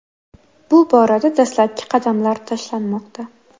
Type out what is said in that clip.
Bu borada dastlabki qadamlar tashlanmoqda.